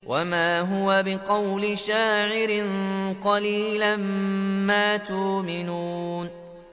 وَمَا هُوَ بِقَوْلِ شَاعِرٍ ۚ قَلِيلًا مَّا تُؤْمِنُونَ